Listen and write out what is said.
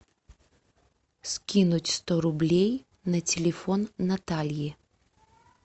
скинуть сто рублей на телефон натальи